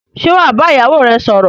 Sé wàá ba ìyá ìyáwò rẹ sòrò